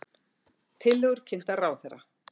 Tillögur kynntar ráðherra